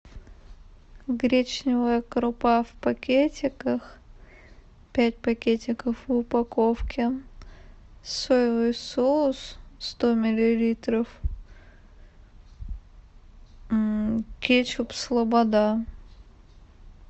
гречневая крупа в пакетиках пять пакетиков в упаковке соевый соус сто миллилитров кетчуп слобода